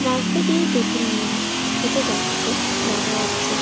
রাস্তা দিয়ে দুটি মেয়ে হেটে যাচ্ছে দেখা যাচ্ছে।